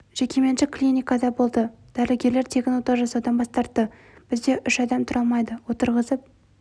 жекеменшік клиникада болды дәрігерлер тегін ота жасаудан бас тартты бізде үш адам тұра алмайды отырғызып